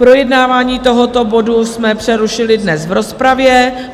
Projednávání tohoto bodu jsme přerušili dnes v rozpravě.